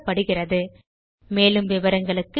மேற்கொண்டு விவரங்கள் எங்கள் வலைத்தளத்தில் கிடைக்கும்